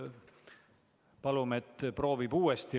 Palume, et ta proovib uuesti.